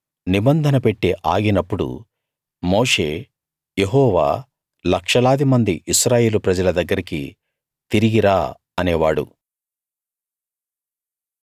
నిబంధన పెట్టె ఆగినప్పుడు మోషే యెహోవా లక్షలాది మంది ఇశ్రాయేలు ప్రజల దగ్గరికి తిరిగి రా అనేవాడు